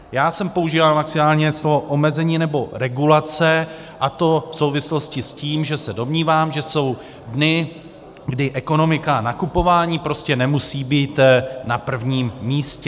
Já jsem používal maximálně slovo omezení nebo regulace, a to v souvislosti s tím, že se domnívám, že jsou dny, kdy ekonomika a nakupování prostě nemusí být na prvním místě.